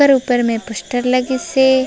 ओकर ऊपर में पोस्टर लगे से--